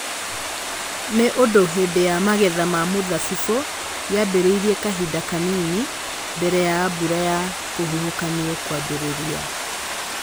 Nĩ ũndũ hĩndĩ ya magetha ma mũthabibũ yambĩrĩirie kahinda kanini mbere ya mbura ya kĩhuhũkanio kwambĩrĩria.